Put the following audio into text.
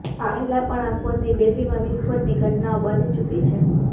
આ પહેલાં પણ આ ફોનની બેટરીમાં વિસ્ફોટની ઘટનાઓ બની ચૂકી છે